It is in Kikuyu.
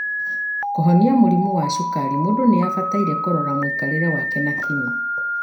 Kũhonia mũrimũ wa cukari mũndu nĩ abatie kũrora mwikarĩre wake na kinyi.